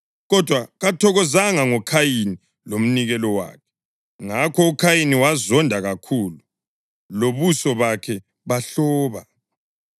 kodwa kathokozanga ngoKhayini lomnikelo wakhe. Ngakho uKhayini wazonda kakhulu, lobuso bakhe bahloba.